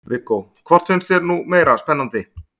Viggó: Hvort finnst þér nú meira spennandi?